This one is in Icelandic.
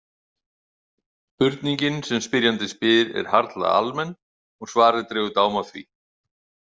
Spurningin sem spyrjandi spyr er harla almenn og svarið dregur dám af því.